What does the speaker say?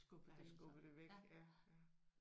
Der har skubbet det væk ja ja